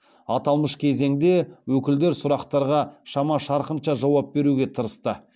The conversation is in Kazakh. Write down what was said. аталмыш кезеңде өкілдер сұрақтарға шама шарқынша жауап беруге тырысты